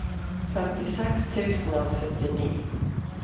femtiseks tusen og syttini